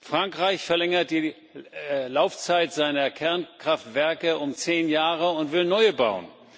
Frankreich verlängert die Laufzeit seiner Kernkraftwerke um zehn Jahre und will neue bauen.